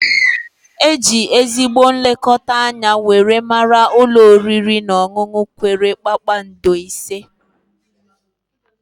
E ji ezigbo nlekọta anya were mara ulọ oriri na ọṅụnụ kwere kpakpando ise